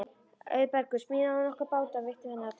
Auðbergur smíðaði nokkra báta og veitti þannig atvinnu.